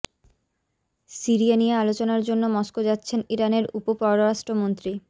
Syria নিয়ে আলোচনার জন্য মস্কো যাচ্ছেন ইরানের উপ পররাষ্ট্রমন্ত্রী